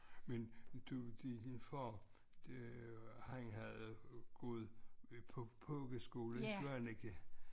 Men du din far øh han havde gået på pogeskole i Svaneke